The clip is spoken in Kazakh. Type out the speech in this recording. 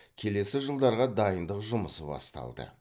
келесі жылдарға дайындық жұмысы басталды